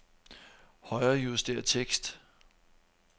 Højrejuster tekst.